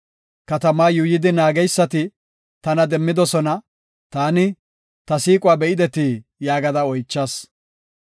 Katamaa yuuyidi naageysati tana demmidosona; taani, “Ta siiquwa be7idetii?” yaagada oychas.